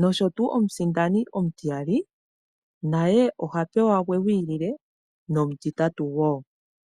nosho tuu omusindani omutiyali naye oha pewa gwe gwiilile nomutitatu woo.